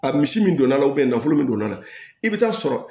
A misi min donna a la nafolo min don a la i bɛ taa sɔrɔ